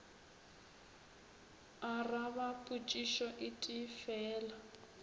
araba potšišo e tee fela